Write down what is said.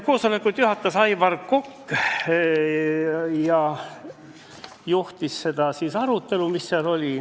Koosolekut juhatajas Aivar Kokk, tema juhtis arutelu.